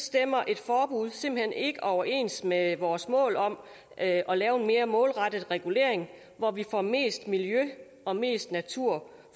stemmer et forbud simpelt hen ikke overens med vores mål om at at lave en mere målrettet regulering hvor vi får mest miljø og mest natur